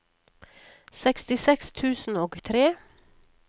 sekstiseks tusen og tre